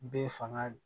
Bɛɛ fanga